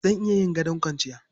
Zan iya yin gadon kwanciya.